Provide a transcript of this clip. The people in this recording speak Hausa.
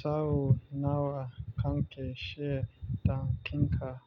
Sau nawa kanke shebda kinka?